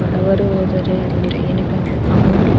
ಬಡವರು ಹೋದರೆ ಇಲ್ಲಿ ಅಂದ್ರೆ ಅಮೌಂಟ್ --